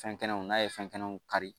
Fɛnkɛnɛw n'a ye fɛnkɛnɛw kari